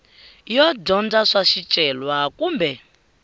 yo dyondza swa swicelwa kumbe